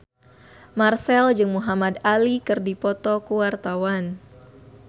Marchell jeung Muhamad Ali keur dipoto ku wartawan